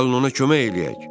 Gəlin ona kömək eləyək.